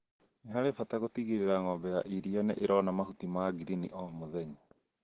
Nĩ harĩ bata gũtigĩrĩra ng'ombe ya rira nĩ ĩrona mahũta ma ngirini o mũthenya